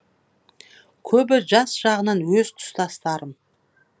көбі жас жағынан өз тұстастарым